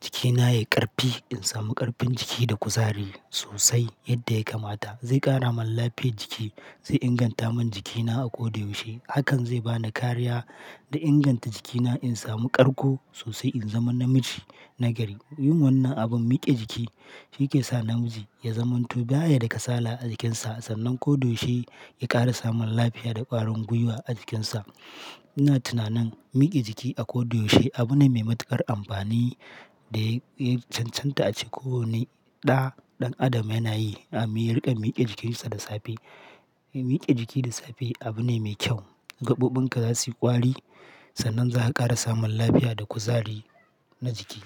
jikina yayi ƙarfi. In samu ƙarfin jiki da kuzari sosai yadda ya kamata. Zai ƙara mun lafiyar jiki, zai inganta mun jikina a koda yaushe. Hakan zai bani kariya da inganta jikina in samu ƙarko sosai in zama namiji na gari. Yin wannan abin mike jiki, shi ke sa namiji ya zamanto baya da kasala a jikinsa sannan koda yaushe ya ƙara samun lafiya da ƙwarin gwiwa a jikinsa. Ina tunanin miƙe jiki a koyaushe abu ne mai matuƙar amfani da ya cancanta a ce kowane ɗa ɗan adam yana yi a yaringa miƙe jikinsa da safe. Miƙe jiki da safe abu ne me kyau. Gaɓoɓin ka za su yi ƙwari sannan za ka ƙara samun lafiya da kuzari na jiki.